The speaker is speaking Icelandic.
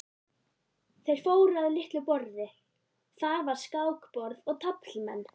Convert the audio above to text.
Þeir fóru að litlu borði, þar var skákborð og taflmenn.